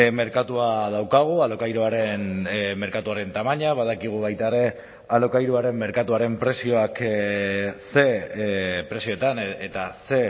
merkatua daukagu alokairuaren merkatuaren tamaina badakigu baita ere alokairuaren merkatuaren prezioak ze prezioetan eta ze